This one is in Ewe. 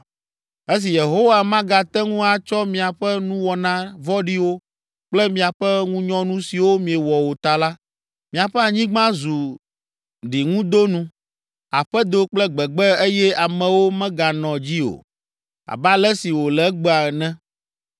Esi Yehowa magate ŋu atsɔ miaƒe nuwɔna vɔ̃ɖiwo kple miaƒe ŋunyɔnu siwo miewɔ o ta la, miaƒe anyigba zu ɖiŋudonu, aƒedo kple gbegbe eye amewo meganɔ dzi o, abe ale si wòle egbea ene.